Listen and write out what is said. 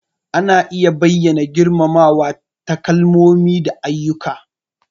Ana iya bayyana girmamawa ta kalmomi da ayyuka.